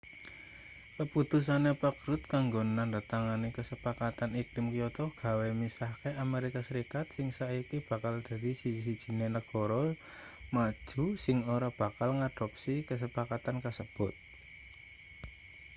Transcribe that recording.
kaputusane pak rudd kanggo nandhatangani kasepakatan iklim kyoto gawe misahke amerika serikat sing saiki bakal dadi siji-sijine negara maju sing ora bakal ngadopsi kasepakatan kasebut